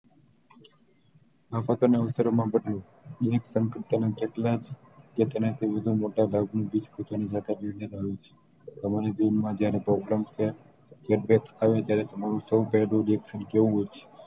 આ પોતે મેં મેં બનાયું મોટા ભાગ નું જયારે problem કેવું હશે